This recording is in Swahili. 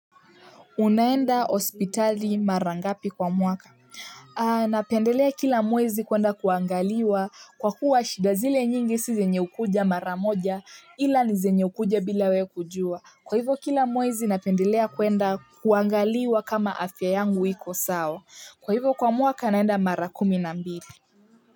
Unaenda hospitali mara ngapi kwa mwaka. Napendelea kila mwezi kuenda kuangaliwa kwa kuwa shida zile nyingi si zenye ukuja mara moja ila ni zenye ukuja bila we kujua kwa hivyo kila mwezi napendelea kuenda kuangaliwa kama afya yangu iko sawa kwa hivyo kwa mwaka naenda mara kumi na mbili.